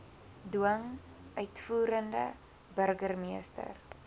dwing uitvoerende burgermeester